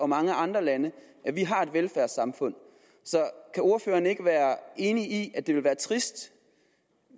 mange andre lande at vi har et velfærdssamfund så kan ordføreren ikke være enig i at det ville være trist